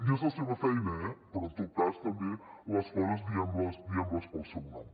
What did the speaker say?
i és la seva feina eh però en tot cas també les coses diguem les pel seu nom